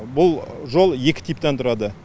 бұл жол екі типтен тұрады